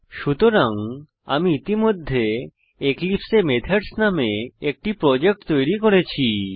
সুতরাং আমি ইতিমধ্যে এক্লিপসে এ মেথডস নামে একটি প্রজেক্ট তৈরী করেছি